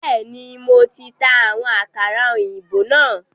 Bẹẹni, Mo ti ta àwọn àkàrà òyìnbó náà